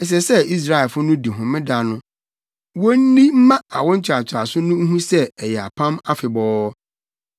Ɛsɛ sɛ Israelfo no di Homeda no, wonni mma awo ntoatoaso no nhu sɛ ɛyɛ apam afebɔɔ.